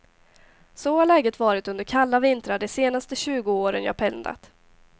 Så har läget varit under kalla vintrar de senaste tjugo åren jag pendlat.